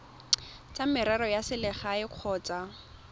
tsa merero ya selegae kgotsa